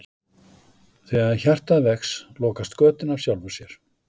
Þegar hjartað vex lokast götin af sjálfu sér.